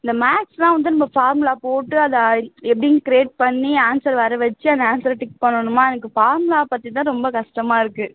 இந்த maths தான் வந்து formula போட்டு அதை எப்படின்னு create பண்ணி answer வரவச்சு அந்த answer ஐ tick பண்ணனுமா எனக்கு formula பத்தி தான் ரொம்ப கஷ்டமா இருக்கு